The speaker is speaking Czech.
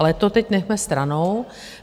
Ale to teď nechme stranou.